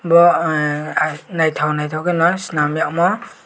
bo ang naithok naithok kheno swnamyamo.